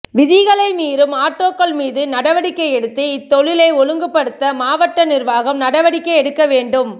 விதிகளை மீறும் ஆட்டோக்கள் மீது நடவடிக்கை எடுத்து இத்தொழிலை ஒழுங்குபடுத்த மாவட்ட நிர்வாகம் நடவடிக்கை எடுக்க வேண்டும்